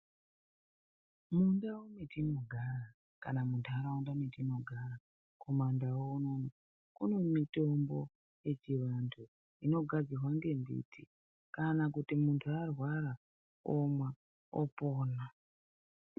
Mundau mwetinogara kana muntaraunda metinogara kumandau unono kune mitombo yechiantu inogadzirwa ngembiti kana kuti muntu arwara omwa opona.